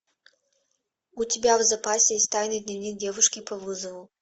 у тебя в запасе есть тайный дневник девушки по вызову